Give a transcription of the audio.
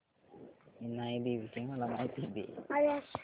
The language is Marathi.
इनाई देवीची मला माहिती दे